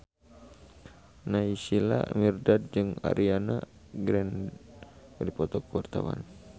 Naysila Mirdad jeung Ariana Grande keur dipoto ku wartawan